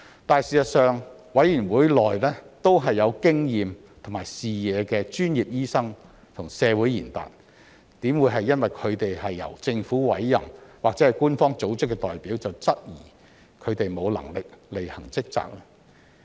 但是，事實上，委員會內都是有經驗和視野的專業醫生和社會賢達，怎會因為他們是由政府委任或是官方組織的代表，便質疑他們沒能力履行職責？